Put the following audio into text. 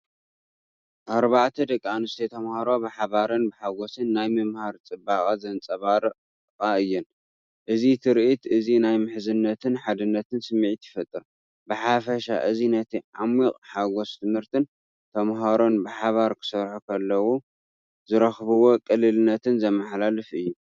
ኣርባዕተ ደቂ ኣንስትዮ ተምሃሮ ብሓባርን ብሓጎስን ናይ ምምሃር ጽባቐ ዘንጸባርቓ እየን። እዚ ትርኢት እዚ ናይ ምሕዝነትን ሓድነትን ስምዒት ይፈጥር። ብሓፈሻ እዚ ነቲ ዓሚቝ ሓጐስ ትምህርትን ተማሃሮ ብሓባር ክሰርሑ ከለዉ ዝረኽብዎ ቅልልነትን ዘመሓላልፍ እዩ።